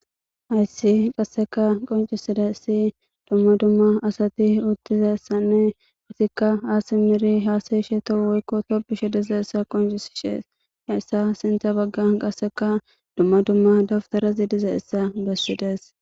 Hfyssi qasseka qoncisida isi dumma dumma asati uttizassanne isikka aas miri haaseyshe to woykko topishe diza issa qoncisishees hayssa sintha bagga qasseka dumma dumma dabtarazi diza issa bessides.